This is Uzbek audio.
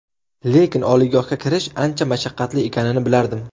Lekin oliygohga kirish, ancha mashaqqatli ekanini bilardim.